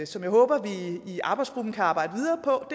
som jeg håber vi i arbejdsgruppen kan arbejde videre på